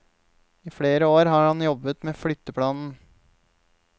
I flere år har han jobbet med flytteplanen.